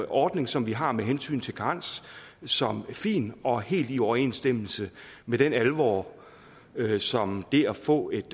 ordning som vi har med hensyn til karens som fin og helt i overensstemmelse med den alvor som det at få et